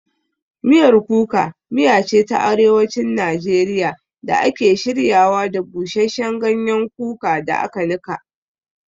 Miyar Kuka miya ce ta Arewacin Najeriya da ake shiryawa da busasshen ganyen kuka da aka nika.